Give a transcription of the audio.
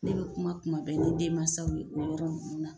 Ne bɛ kuma kuma bɛɛ ni denmansaw ye o yɔrɔ ninnu na.